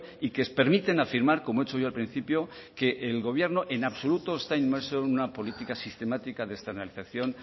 y que permiten afirmar como he hecho yo al principio que el gobierno en absoluto está inmerso en una política sistemática de externalización